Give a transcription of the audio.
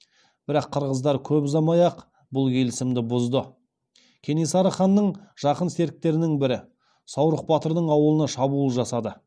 бірақ қырғыздар көп ұзамай ақ бұл келісімді бұзды кенесары ханның жақын серіктерінің бірі саурық батырдың ауылына шабуыл жасады